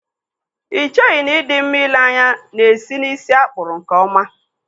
Ị cheghị na ị dị mma ịle anya na-esi n'ísí a kpụrụ nkeọma?